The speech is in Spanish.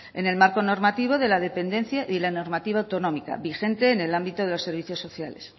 en el marco normativo de la dependencia y la normativa autonómica vigente en el ámbito de los servicios sociales